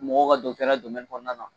Mɔgɔ ka kɔnɔna na